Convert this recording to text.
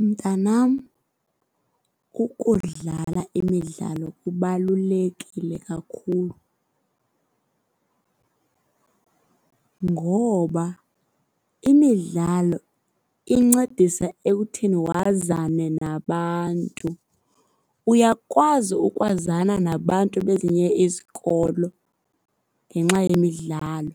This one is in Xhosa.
Mntanam, ukudlala imidlalo kubalulekile kakhulu ngoba imidlalo incedisa ekutheni wazane nabantu. Uyakwazi ukwazana nabantu bezinye izikolo ngenxa yemidlalo.